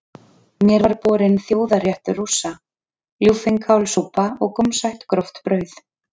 Mér var borinn þjóðarréttur Rússa, ljúffeng kálsúpa og gómsætt gróft brauð.